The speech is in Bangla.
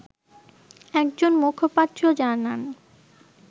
একজন মুখপাত্র জানান